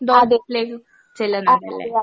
അതെ